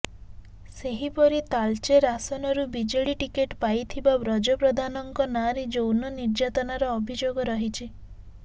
ସେହିପର ତାଳଚେର ଆସନରୁ ବିଜେଡି ଟିକେଟ୍ ପାଇଥିବା ବ୍ରଜ ପ୍ରଧାନଙ୍କ ନାଁରେ ଯୌନ ନିର୍ଯାତନାର ଅଭିଯୋଗ ରହିଛି